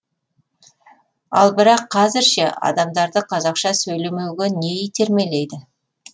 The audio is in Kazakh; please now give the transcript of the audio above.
ал бірақ қазір ше адамдарды қазақша сөйлемеуге не итермелейді